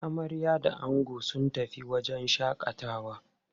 Amarya da ango sun tafi wajen shaƙatawa.